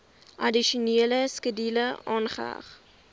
addisionele skedule aangeheg